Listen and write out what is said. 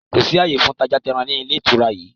Kò sí ààyè fún tajá tẹran ní ilé ìtura yìí!